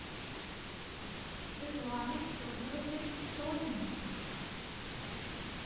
светланой федоровной сониной